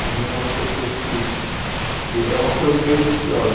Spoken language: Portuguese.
Eu vi umas pessoas que e... É uma coisa meio viciosa.